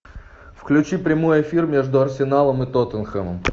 включи прямой эфир между арсеналом и тоттенхэмом